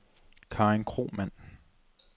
Karen Kromann